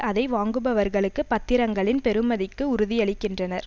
அதை வாங்குபவர்களுக்கு பத்திரங்களின் பெறுமதிக்கு உறுதியளிக்கின்றனர்